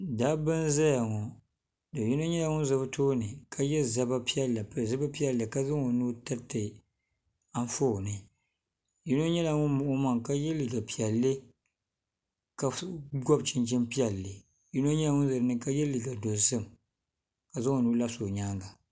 dabba n-zaya ŋɔ do'yino nyɛla ŋun za bɛ tooni ye zaba piɛlli m-pili zupil'piɛlli ka zaŋ o nuu tiriti anfooni yino nyɛla ŋun muɣi o maŋa ka ye liiga piɛlli ka gɔbi chinchini piɛlli yino nyɛla ŋun ʒe ni ka ye liiga dozim ka zaŋ o nuhi labisi o nyaaga.